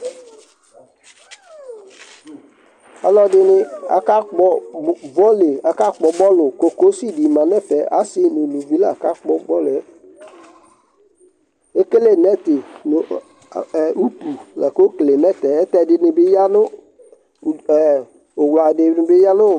aluɛdɩnɩ kakpɔ utoku, kokosi dɩ ma nʊ ɛfɛ , asi nʊ aluvi la kakpɔ utoku yɛ, ekele asabu nʊ utu, ɛdɩnɩ bɩ ya nʊ uwla